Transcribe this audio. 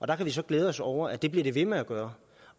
der kan vi så glæde os over at det bliver den ved med at gøre